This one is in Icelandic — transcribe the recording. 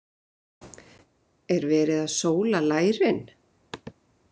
Er verið að sóla lærin?